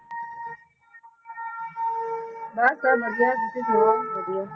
ਬੱਸ ਸਬ ਵਧੀਆ ਤੁਸੀਂ ਸੁਣਾਓ ਵਧੀਆ